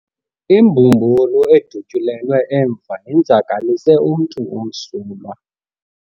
Imbumbulu edutyulelwe emva yenzakalise umntu omsulwa.